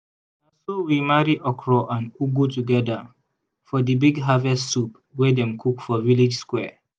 na so we marry okro and ugu together for di big harvest soup wey dem cook for village square